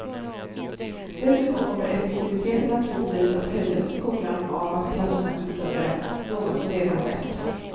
Dessutom kommer effektiviteten naturligtvis att höjas i skolan av att klasserna blir större, något som redan skett.